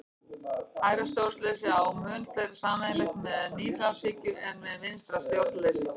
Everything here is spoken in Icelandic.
Hægra stjórnleysi á mun fleira sameiginlegt með nýfrjálshyggju en með vinstra stjórnleysi.